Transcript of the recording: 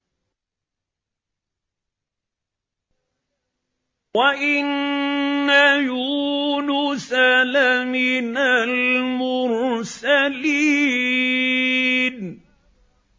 وَإِنَّ يُونُسَ لَمِنَ الْمُرْسَلِينَ